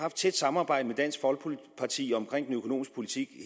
et tæt samarbejde med dansk folkeparti om den økonomiske politik